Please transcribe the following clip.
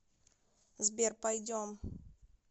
сбер пойдем